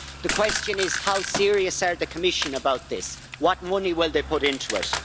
The question is how serious are the Commission about this, what money will they put into it?